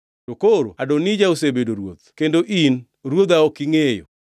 To koro Adonija osebedo ruoth, kendo in, ruodha ok ingʼeyo.